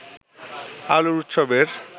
আলোর উৎসবের